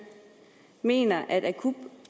mener at